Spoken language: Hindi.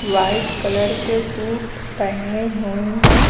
व्हाइट कलर के सूट पहने हुई हैं।